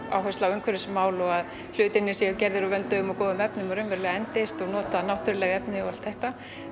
umhverfismál og að hlutir séu gerðir til að endast nota náttúruleg efni og allt þetta